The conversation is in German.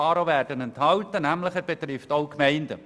Er trifft nämlich auch die Gemeinden.